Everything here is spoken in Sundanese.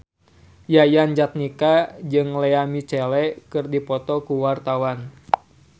Yayan Jatnika jeung Lea Michele keur dipoto ku wartawan